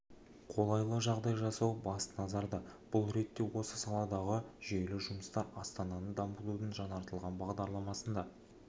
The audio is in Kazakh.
қолайлы жағдай жасау басты назарда бұл ретте осы саладағы жүйелі жұмыстар астананы дамытудың жаңартылған бағдарламасында